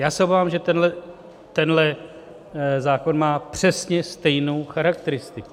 Já se obávám, že tenhle zákon má přesně stejnou charakteristiku.